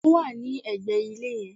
Ó wà ní ẹ̀gbẹ̀ ilé yen